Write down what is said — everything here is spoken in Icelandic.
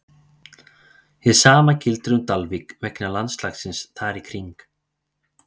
Hið sama gildir um Dalvík vegna landslagsins þar í kring.